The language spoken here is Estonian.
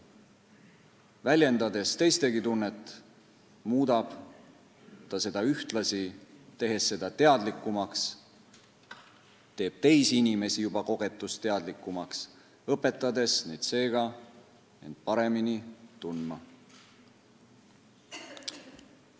Väljendades teistegi tunnet, muudab ta seda ühtlasi, tehes selle teadlikumaks: teeb teisi juba kogetust teadlikumaks, õpetades neid seega end paremini tundma.